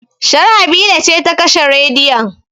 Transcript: Sharhabila ce ta kashe rediyon